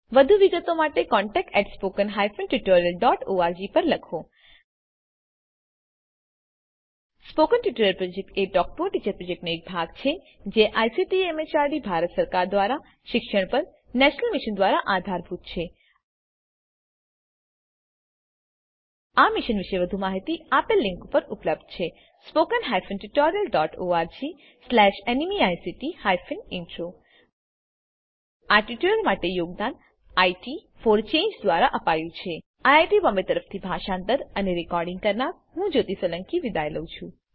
વધુ વિગતો માટે contactspoken tutorialorg પર લખો spoken tutorial project talk to a teacher પ્રોજેક્ટનો એક ભાગ છે 001004 000959 જેને આઈસીટી એમએચઆરડી ભારત સરકાર મારફતે શિક્ષણ પર નેશનલ મિશન દ્વારા આધાર અપાયેલ છે આ મિશન પરની વધુ માહિતી spoken tutorialorgnmeict ઇન્ટ્રો પર ઉપલબ્ધ છે આ ટ્યુટોરીયલ માટે યોગદાન ઇટ ફોર ચાંગે દ્વારા અપાયું છે આઈઆઈટી બોમ્બે તરફથી હું જ્યોતી સોલંકી વિદાય લઉં છું